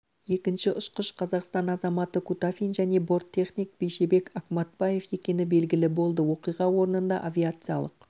екінші ұшқыш қазақстан азаматы кутафин және борттехник бейшебек акматбаев екені белгілі болды оқиға орнында авиациялық